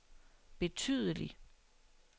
betydelig